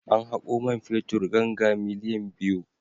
An haƙo man fetur ganga miliyan biyu.